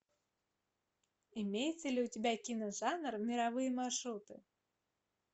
имеется ли у тебя киножанр мировые маршруты